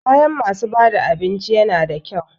Kayan masu bada abinci yana da kyau.